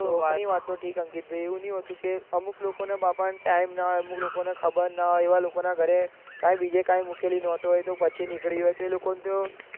તમારી વાત ઠીક હ અંકિત ભાઈ એવું નહીં હોતું અમુક લોકો બાપરા time ન હોય અમુક લોકો ન ઘરે ખબર ન હોય એવા લોકો ના ઘરે બીજે ક્યાં મુકેલી નોટો હોય તે પછી નીકળે તો એ લોકોને તો